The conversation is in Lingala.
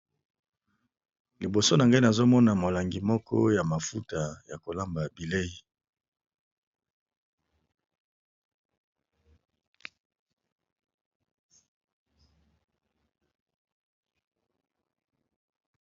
Liboso nangai nazomona mulangi moko ya mafuta ya kolamba bileyi.